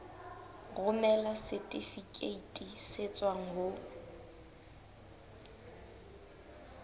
romela setifikeiti se tswang ho